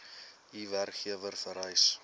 u werkgewer vereis